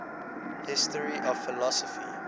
history of philosophy